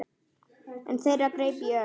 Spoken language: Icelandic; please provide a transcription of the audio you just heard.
Einn þeirra greip í Örn.